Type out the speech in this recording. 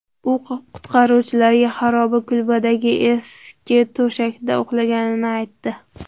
U qutqaruvchilarga xaroba kulbadagi eski to‘shakda uxlaganini aytdi.